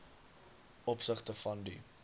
opsigte van die